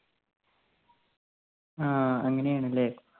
ആ അങ്ങനെ ആണ് ല്ലേ